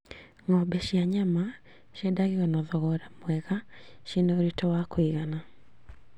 Ng'ombe cia nyama ciendagio na thogora mwega ciĩna ũritũ wa kũigana